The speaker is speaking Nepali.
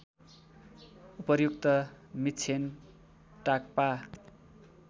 उपर्युक्त मिक्षेन टाग्पा